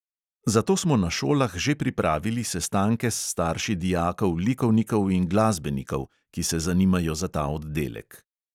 Zato smo na šolah že pripravili sestanke s starši dijakov likovnikov in glasbenikov, ki se zanimajo za ta oddelek.